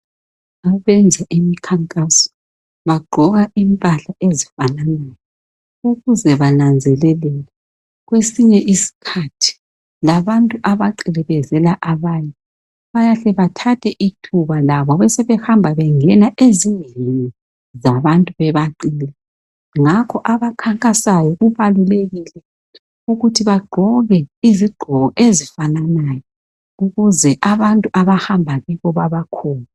Abenza imkhankaso bagqoka impahla ezifananayo ukuze bananzeleleke. Kwesinye isikhathi labantu abaqilibezela abanye, bayahle bathathe ithuba labo besebehamba bengena ezindlini zabantu bebaqila. Ngakho abakhankasayo kubalulekile ukuthi bagqoke izigqoko ezifananayo ukuze abantu abahamba kibo babakholwe.